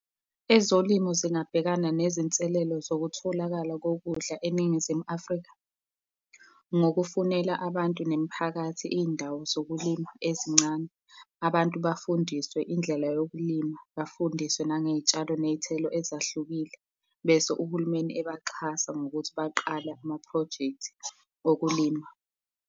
Ezolimo zingabhekana nezinselelo zokutholakala kokudla eNingizimu Afrika ngokufunela abantu nemiphakathi, iy'ndawo zokulima ezincane. Abantu bafundiswe indlela yokulima, bafundiswe nangey'tshalo ney'thelo ezahlukile, bese uhulumeni ebaxhasa ngokuthi baqale amaphrojekthi okulima.